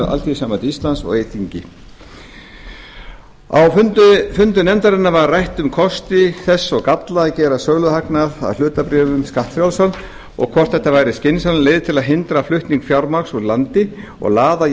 alþýðusambandi íslands og eyþingi á fundum nefndarinnar var rætt um kosti þess og galla að gera söluhagnað af hlutabréfum skattfrjálsan og hvort þetta væri skynsamleg leið til að hindra flutning fjármagns úr landi og laða